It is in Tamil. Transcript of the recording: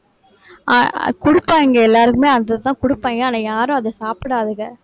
அஹ் குடுப்பாங்க எல்லாருக்குமே அதை தான் கொடுப்பாங்க. ஆனா யாரும் அதை சாப்பிடாதுங்க